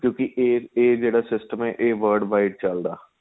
ਕਿਉਂਕਿ ਏ ਏ ਜਿਹੜਾ system ਆਂ ਏ world wide ਚੱਲਦਾ